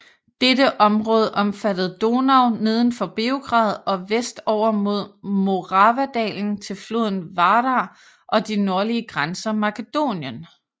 Dette område omfattede Donau neden for Beograd og vest over mod Moravadalen til floden Vardar og de nordlige grænser Makedonien